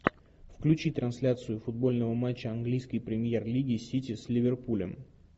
включи трансляцию футбольного матча английской премьер лиги сити с ливерпулем